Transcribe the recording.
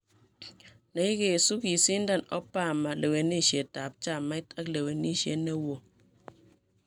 neigesu, kisindan Obama lewenisiet ap chamait ak lewenisiet newo